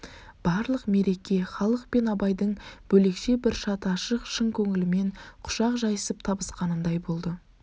барлық мереке халық пен абайдың бөлекше бір шат ашық шын көңілімен құшақ жайысып табысқанындай болды